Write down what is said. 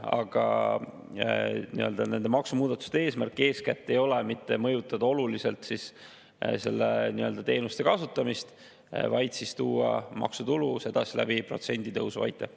Aga nende maksumuudatuste eesmärk eeskätt ei ole mitte mõjutada oluliselt selle teenuse kasutamist, vaid tuua maksutulu protsenditõusu kaudu.